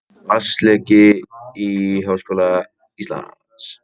Vatnsleki í Háskóla Íslands